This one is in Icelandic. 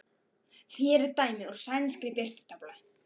Hér er dæmi úr sænskri birtutöflu